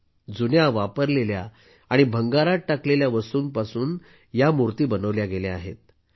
म्हणजे जुन्या वापरलेल्या आणि भंगारात टाकलेल्या वस्तूंपासून या मूर्ती बनवल्या गेल्या आहेत